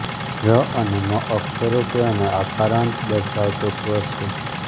ર અને મ અક્ષરો છે અને આકારાંત દર્શાવતો સ્વર છે